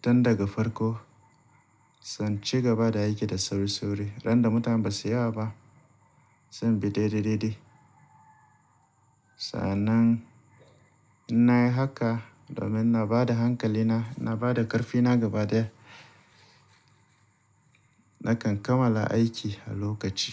tun daga farko. Sai in ci gaba da aiki da sauri-sauri randa mutane ba su yi wa ba. Sai in bi daidai-daidai. Sa'annan in na yi haka domin na ba da hankali na, na ba da ƙarfi na gaba daya. Nakan kammala aiki a lokaci.